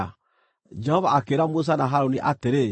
Jehova akĩĩra Musa na Harũni atĩrĩ,